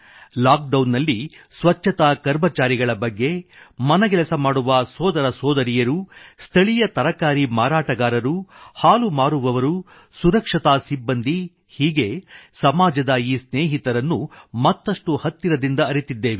lock down ನಲ್ಲಿ ಸ್ವಚ್ಛತಾ ಕರ್ಮಚಾರಿಗಳ ಬಗ್ಗೆ ಮನೆಗೆಲಸ ಮಾಡುವ ಸೋದರ ಸೋದರಿಯರು ಸ್ಥಳೀಯ ತರಕಾರಿ ಮಾರಾಟಗಾರರು ಹಾಲು ಮಾರುವವರು ಸುರಕ್ಷತಾ ಸಿಬ್ಬಂದಿ ಹೀಗೆ ಸಮಾಜದ ಈ ಸ್ನೇಹಿತರನ್ನು ಮತ್ತಷ್ಟು ಹತ್ತಿರದಿಂದ ಅರಿತಿದ್ದೇವೆ